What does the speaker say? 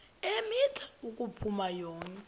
eemitha ukuphakama yonke